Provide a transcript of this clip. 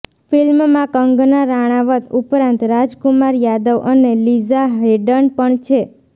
ફિલ્મમાં કંગના રાણાવત ઉપરાંત રાજકુમાર યાદવ અને લીઝા હૅડન પણ છે